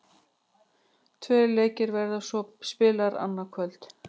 Tveir leikir verða svo spilaðir annað kvöld.